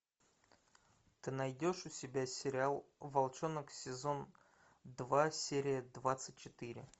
ты найдешь у себя сериал волчонок сезон два серия двадцать четыре